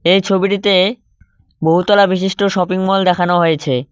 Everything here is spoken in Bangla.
এই ছবিটিতে বহুতলা বিশিষ্ট শপিংমল দেখানো হয়েছে।